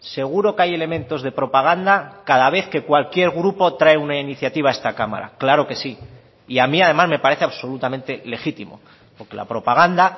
seguro que hay elementos de propaganda cada vez que cualquier grupo trae una iniciativa a esta cámara claro que sí y a mí además me parece absolutamente legítimo porque la propaganda